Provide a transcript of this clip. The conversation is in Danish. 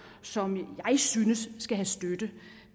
som jeg synes skal have støtte